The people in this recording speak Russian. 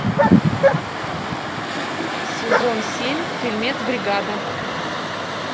сезон семь фильмец бригада